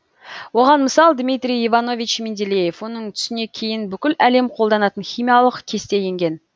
оған мысал дмитрий иванович менделеев оның түсіне кейін бүкіл әлем қолданатын химиялық кесте еңген